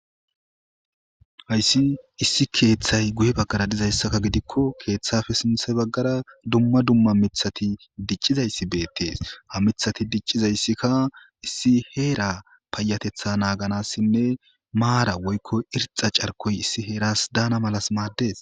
Haysi issi keethay guye bagara dizaysakka gidiko keethappe sinthe bagara dumma dumma mithati dicizaysi betesi. Ha mithati dicizysika issi heera payatetha naganasinne maara woyko orxa carikoy issi heeras daana mala maadesi.